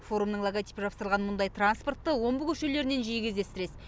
форумның логотипі жапсырылған мұндай транспортты омбы көшелерінен жиі кездестіресіз